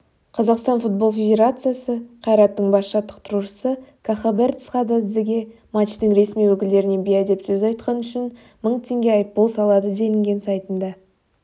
қазақстан футбол федерациясы қайраттың бас жаттықтырушысы кахабер цхададзеге матчтың ресми өкілдеріне бейәдеп сөз айтқаны үшін мың теңге айыппұл салады делінген сайтында